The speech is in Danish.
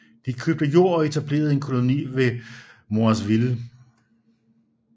De købte jord og etablerede en koloni ved navn Moiseville